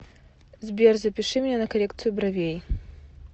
сбер запиши меня на коррекциию бровей